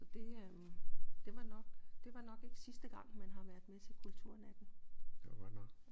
Så det øh det var nok det var nok ikke sidste gang man har været med til kulturnatten